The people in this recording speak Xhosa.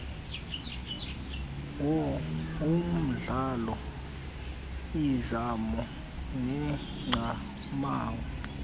womdlalo izimo neengcamango